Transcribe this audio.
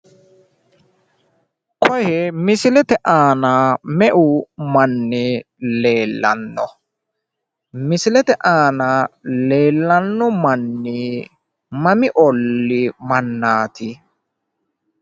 Koye misilete me'u manni leellanno? misilete aana leellanno manni mami olli mannaati?